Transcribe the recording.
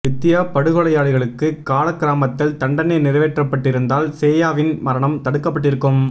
வித்தியா படுகொலையாளிகளுக்கு காலக் கிரமத்தில் தண்டனை நிறைவேற்றப்பட்டிருந்தால் சேயாவின் மரணம் தடுக்கப்பட்டிருக்கும்